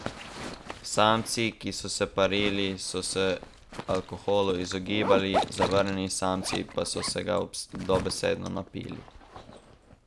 Samci, ki so se parili, so se alkoholu izogibali, zavrnjeni samci pa so se ga dobesedno napili.